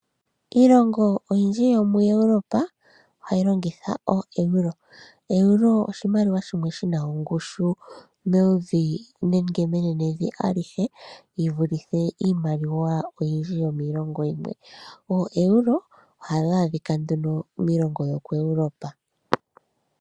Iilongo oyindji yomu Europe ohayi longitha oo EURO. EURO oshimaliwa shimwe shina ongushu menenevi alihe yivulithe iimaliwa oyindji yomiilongo yimwe. OoEURO ohayi adhika miilongo yomu Europe.